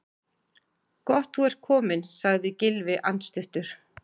Gott þú ert kominn sagði Gylfi andstuttur.